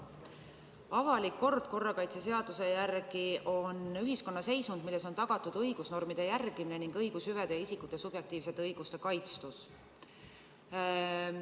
Avalik kord korrakaitseseaduse järgi on ühiskonna seisund, milles on tagatud õigusnormide järgimine ning õigushüvede ja isikute subjektiivsete õiguste kaitstus.